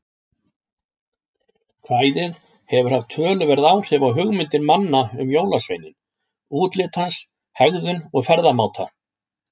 Kvæðið hefur haft töluverð áhrif á hugmyndir manna um jólasveininn, útlit hans, hegðun og ferðamáta.